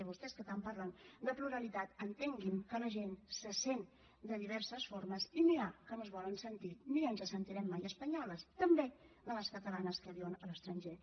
i vostès que tant parlen de pluralitat entenguin que la gent se sent de diverses formes i n’hi ha que no es volen sentir ni ens sentirem mai espanyoles també de les catalanes que viuen a l’estranger